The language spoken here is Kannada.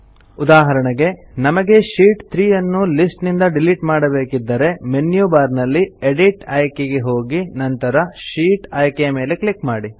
ಉದಾಹರಣೆಗೆ ನಮಗೆ ಶೀಟ್ 3 ಅನ್ನು ಲಿಸ್ಟ್ ನಿಂದ ಡಿಲಿಟ್ ಮಾಡಬೇಕಿದ್ದರೆ ಮೆನ್ಯು ಬಾರ್ ನಲ್ಲಿ ಎಡಿಟ್ ಆಯ್ಕೆ ಗೆ ಹೋಗಿ ನಂತರ ಶೀಟ್ ಆಯ್ಕೆಯ ಮೇಲೆ ಕ್ಲಿಕ್ ಮಾಡಿ